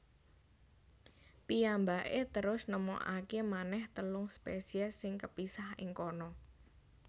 Piyambakè terus nemokakè manèh telung spèsiès sing kepisah ing kana